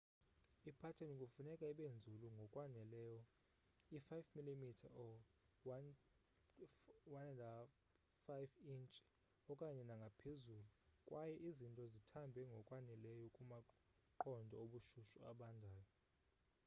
ipateni kufuneka ibe nzulu ngokwaneleyo i-5 mm 1/5 intshi okanye nangaphezulu kwaye izinto zithambe ngokwaneleyo kumaqondo obushushu abandayo